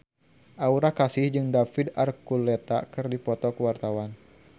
Aura Kasih jeung David Archuletta keur dipoto ku wartawan